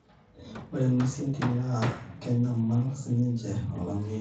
ore ing'uesi entim naa keitnyamal sininche olameyu